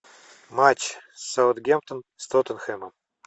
матч саутгемптон с тоттенхэмом